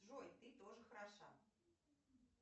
джой ты тоже хороша